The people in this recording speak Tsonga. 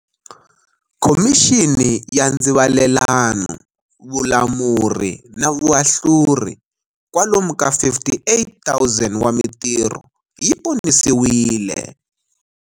Khomixini ya Ndzivalelano, Vulamuri na Vuahluri, kwalomu ka 58 000 wa mitirho yi ponisiwile.